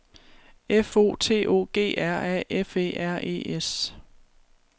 F O T O G R A F E R E S